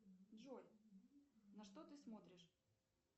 джой на что ты смотришь